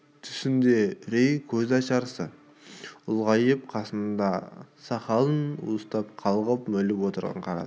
түсінде үрей көзшарасы ұлғайып қасындағы сақалын уыстап қалғып-мүлгіп отырған қарады